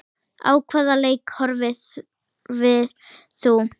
Á hvaða leik horfðir þú?